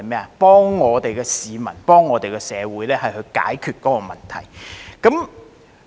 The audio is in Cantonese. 是幫助我們的市民和社會解決問題。